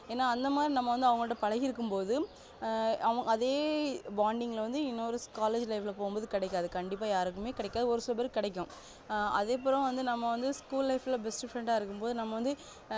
ஏன்னா அந்த மாதிரி நம்ம வந்து பழகிருக்கும் போது அதே bounding ல வந்து இன்னொரு college life ல போகும் போது கிடைக்காது கண்டிப்பா யாருக்குமே கிடைக்காது ஒரு சில பேருக்கு கிடைக்கும் அதேபோல வந்து school life ல best friend ஆஹ் இருக்கும் போது நம்ம வந்து